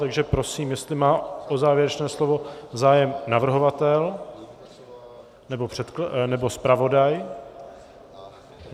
Takže prosím, jestli má o závěrečné slovo zájem navrhovatel nebo zpravodaj.